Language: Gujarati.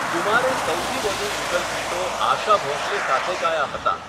કુમારે સૌથી વધુ યુગલ ગીતો આશા ભોંસલે સાથે ગાયા હતાં.